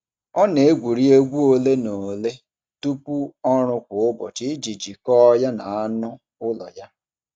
Ọ na-egwuri egwu ole na ole tupu ọrụ kwa ụbọchị iji jikọọ ya na anụ ụlọ ya.